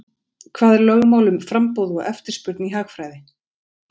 Hvað er lögmál um framboð og eftirspurn í hagfræði?